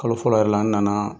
Kalo fɔlɔ yɛrɛ la n nana